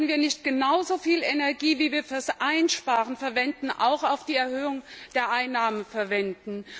Sollten wir nicht genauso viel Energie, wie wir für das Einsparen verwenden, auch für die Erhöhung der Einnahmen verwenden?